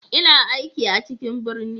Ina aiki a cikin birni.